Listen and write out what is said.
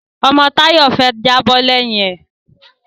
Ọmọ Táyọ̀ fẹ́ jábọ́ lẹ́yìn ẹ̀